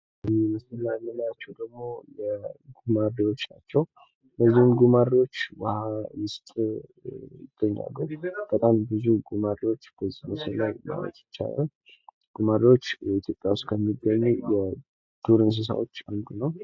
በምስሉ ላይ የምናያቸው ደሞ ጉማሬዎች ናቸዉ ፤ እነዚህም ጉማሬዎች ውሃ ዉስጥ ይገኛሉ ፤ በጣም ብዙ ጉማሬዎች በዛ ዉስጥ አሉ ማለት ይቻላል። ጉማሬዎች በኢትዮጵያ ከሚገኙ የዱር እንስሳዎች አንዱ ነው።